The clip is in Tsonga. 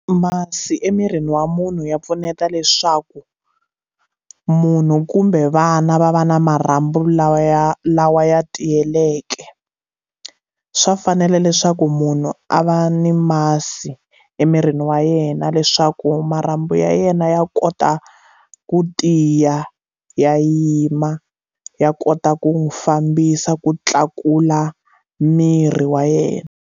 Masi emirini wa munhu ya pfuneta leswaku munhu kumbe vana va va na marhambu lawa ya lawa ya tiyiyeleke swa fanela leswaku munhu a va ni masi emirini wa yena leswaku marhambu ya yena ya kota ku tiya ya yima ya kota ku n'wi fambisa ku tlakula miri wa yena.